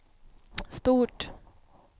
stort